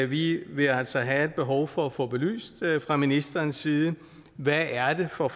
vi vil altså have et behov for at få belyst fra ministerens side hvad er det for